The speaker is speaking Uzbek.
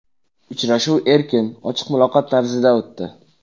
Uchrashuv erkin, ochiq muloqot tarzida o‘tdi.